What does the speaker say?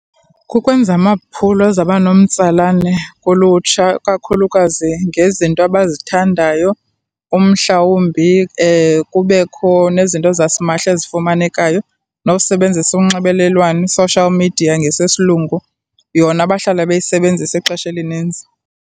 Kukwenza amaphulo aza banomtsalane kulutsha kakhulukazi ngezinto abazithandayo, umhlawumbi kubekho nezinto zasimahla ezifumanekayo, nokusebenzisa unxibelelwano i-social media ngesesilungu, yona abahlala bayisebenzisa ixesha elininzi.